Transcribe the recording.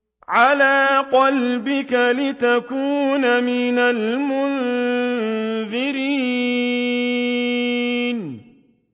عَلَىٰ قَلْبِكَ لِتَكُونَ مِنَ الْمُنذِرِينَ